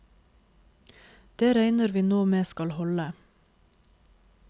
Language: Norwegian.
Det regner vi nå med skal holde.